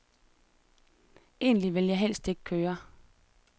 Egentlig vil jeg helst ikke køre.